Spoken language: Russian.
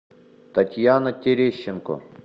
татьяна терещенко